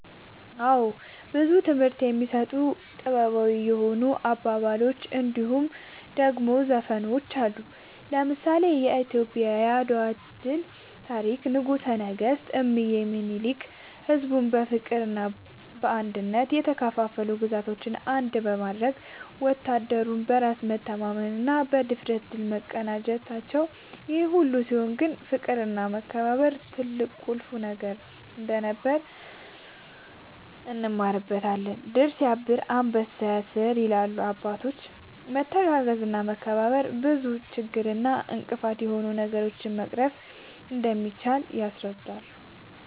አወ ብዙ ትምህርት የሚሰጡ ታሪኮች ጥበባዊ የሆኑ አባባሎች እንድሁም ደሞ ዘፈኖች አሉ። ለምሳሌ :-የኢትዮጵያ የአድዋ ታሪክ ንጉሰ ነገስት እምዬ ዳግማዊ ምኒልክ ሕዝቡን በፍቅርና በአንድነት የተከፋፈሉ ግዛቶችን አንድ በማድረግ ወታደሩም በራስ መተማመንና ብድፍረት ድል መቀዳጀታቸውን ይሄ ሁሉ ሲሆን ግን ፍቅርና መከባበር ትልቅና ቁልፍ ነገር እንደነበር እንማርበታለን # "ድር ስያብር አንበሳ ያስር" ይላሉ አባቶች በመተጋገዝና በመተባበር ብዙ ችግር እና እንቅፋት የሆኑ ነገሮችን መቅረፍ እንደሚቻል ያስረዳሉ